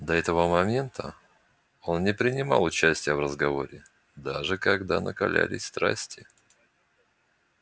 до этого момента он не принимал участия в разговоре даже когда накалялись страсти